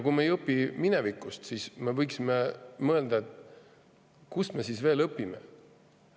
Kui me ei õpi minevikust, siis võiksime mõelda, kust me siis veel õpime.